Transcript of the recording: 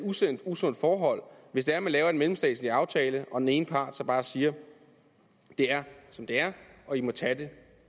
usundt forhold hvis det er man laver en mellemstatslig aftale og den ene part så bare siger det er som det er og i må tage det